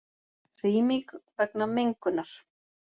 Rýming vegna mengunar